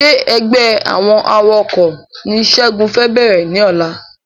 Ṣé ẹgbẹ́ àwọn awakọ̀ ni segun fẹ bẹ̀rẹ̀ ní ọ̀la